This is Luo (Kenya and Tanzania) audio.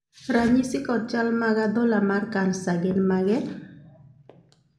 ranyisi kod chal mag adhola mar kansa gin mage?